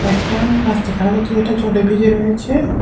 একটা রাস্তা দেখা যাচ্ছে যেটা জলে ভিজে রয়েছে।